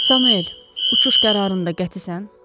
Samuel, uçuş qərarında qətisən?